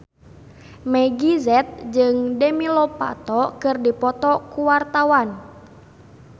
Meggie Z jeung Demi Lovato keur dipoto ku wartawan